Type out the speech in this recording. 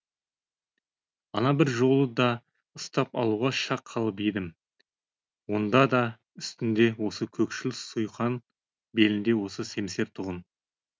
ана бір жолы да ұстап алуға шақ қалып едім онда да үстінде осы көкшіл суйқан белінде осы семсер тұғын